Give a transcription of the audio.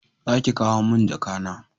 Za ki kawo mun jaka na!